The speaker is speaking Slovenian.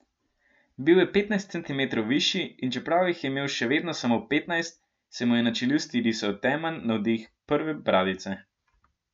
Bil je petnajst centimetrov višji, in čeprav jih je imel še vedno samo petnajst, se mu je na čeljusti risal temen nadih prve bradice.